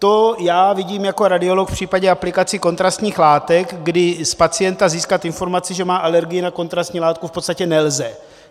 To já vidím jako radiolog v případě aplikací kontrastních látek, kdy z pacienta získat informaci, že má alergii na kontrastní látku, v podstatě nelze.